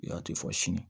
I y'a to i fɔ sini